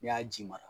N'i y'a ji mara